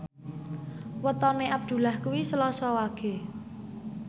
wetone Abdullah kuwi Selasa Wage